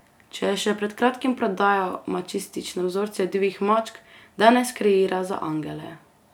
Če je še pred kratkim prodajal mačistične vzorce divjih mačk, danes kreira za angele.